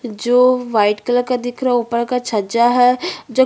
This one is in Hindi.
जो व्हाइट कलर का दिख रहा है ऊपर का छज्जा है जो--